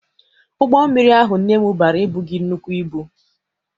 Ụgbọ mmiri ahụ nne m bara ebughị nnukwu ibu.